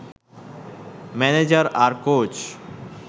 manager আর coach